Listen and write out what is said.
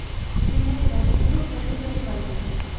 Cibindən biraz pul və bir də revolver çıxdı.